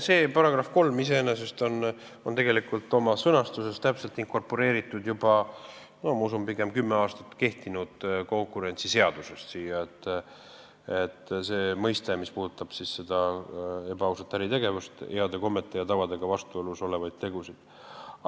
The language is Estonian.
See § 3 on tegelikult oma sõnastusega inkorporeeritud siia, ma usun, juba kümme aastat kehtinud konkurentsiseadusest, see, mis puudutab ebaausat äritegevust, heade kommete ja tavadega vastuolus olevaid tegusid.